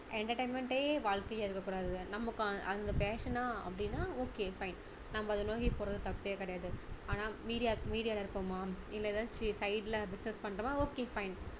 entertainment டே வாழ்க்கையா இருக்க கூடாது நம்ம கா~ அது passion னா அப்படின்னா okay fine நம்ம அதை நோக்கி போறதுல தப்பே கிடையாது ஆனா media media ல இருக்கோமா இல்ல ஏதாவது side ல business பண்றோமா okay fine